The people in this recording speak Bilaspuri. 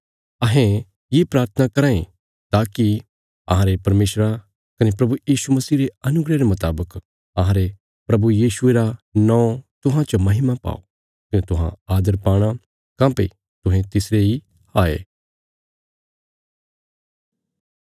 अहें ये प्राथना कराँ ये ताकि अहांरे परमेशरा कने प्रभु यीशु मसीह रे अनुग्रह रे मुतावक अहांरे प्रभु यीशुये रा नौं तुहां च महिमा पाओ कने तुहां आदर पाणा काँह्भई तुहें तिसरे इ हाये